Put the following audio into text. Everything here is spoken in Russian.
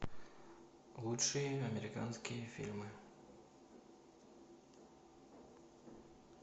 лучшие американские фильмы